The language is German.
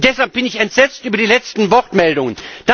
Und deshalb bin ich entsetzt über die letzten Wortmeldungen.